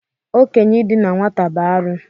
Okenye idina nwata bụ arụ.